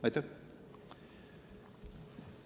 Aitäh!